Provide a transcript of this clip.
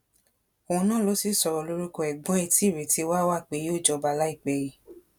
òun náà ló sì sọrọ lórúkọ ẹgbọn ẹ tí ìrètí wà wà pé yóò jọba láìpẹ yìí